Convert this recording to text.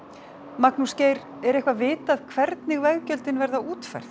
Magnús Geir er eitthvað vitað hvernig veggjöldin verða útfærð